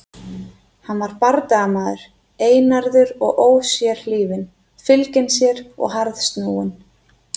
Hann var bardagamaður, einarður og ósérhlífinn, fylginn sér og harðsnúinn.